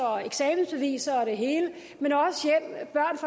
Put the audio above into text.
eksamensbeviser og det hele